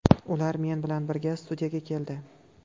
Ular men bilan birga studiyaga keldi.